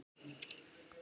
Það hef ég alltaf gert